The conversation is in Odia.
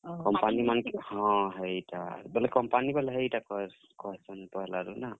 company ମାନକେ ହେଇଟା, ବେଲେ company ବାଲେ ହେଇଟା କହେସନ୍ ପହେଲା ରୁ ନା?